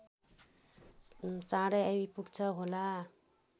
चाँडै आइपुग्छ होला